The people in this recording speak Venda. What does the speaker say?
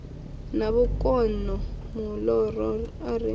na vhukono muloro a ri